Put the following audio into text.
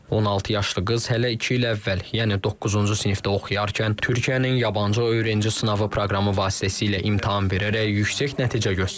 16 yaşlı qız hələ iki il əvvəl, yəni doqquzuncu sinifdə oxuyarkən Türkiyənin yabancı öğrenci sınavı proqramı vasitəsilə imtahan verərək yüksək nəticə göstərib.